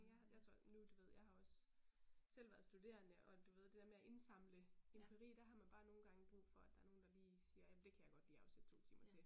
Jeg har jeg tror nu du ved jeg har også selv været studerende, og du ved det der med at indsamle empiri, der har man bare nogle gange brug for, at der er nogen, der lige siger jamen det kan jeg godt lige afsætte 2 timer til